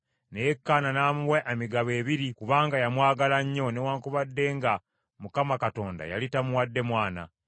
Naye Kaana n’amuwa emigabo ebiri kubanga yamwagala nnyo, newaakubadde nga Mukama Katonda yali tamuwadde mwana.